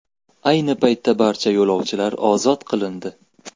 Ayni paytda barcha yo‘lovchilar ozod qilindi .